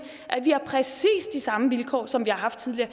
at vi har præcis de samme vilkår som vi har haft tidligere